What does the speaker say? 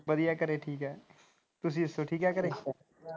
ਵਧੀਆ ਘਰੇ ਠੀਕ ਹੈ ਤੁਸੀ ਦੱਸੋ ਠੀਕ ਹੈ ਘਰੇ।